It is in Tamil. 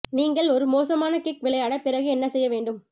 நீங்கள் ஒரு மோசமான கிக் விளையாட பிறகு என்ன செய்ய வேண்டும்